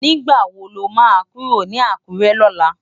Nigbá wó ló má kúró ni Akure lòlá?